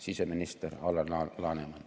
Siseminister Alar Laneman.